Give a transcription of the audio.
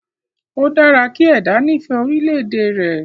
O dára kí ẹ̀dá nifẹ orílẹ̀ èdè rẹ̀